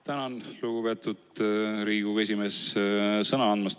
Tänan, lugupeetud Riigikogu esimees, sõna andmast!